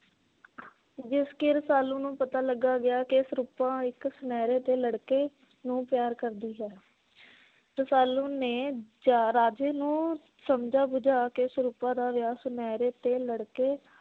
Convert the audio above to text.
ਜਿਸ ਕਿ ਰਸਾਲੂ ਨੂੰ ਪਤਾ ਲਗਾ ਗਿਆ ਕਿ ਸਰੂਪਾ ਇਕ ਸਨੈਰੇ ਦੇ ਲੜਕੇ ਨੂੰ ਪਿਆਰ ਕਰਦੀ ਹੈ। ਰਸਾਲੂ ਨੇ ਜ ਰਾਜੇ ਨੂੰ ਸਮਝਾ ਬੁਝਾ ਕੇ ਸਰੂਪਾ ਦਾ ਵਿਆਹ ਸਨੈਰੇ ਤੇ ਲੜਕੇ